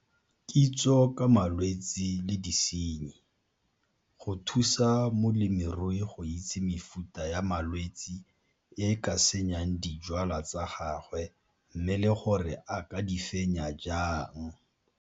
Kitso ka malwetse le disenyi. Go thusa molemirui go itse mefuta ya malwetse e e ka senyang dijwalwa tsa gagwe mme le gore a ka di fenya jang.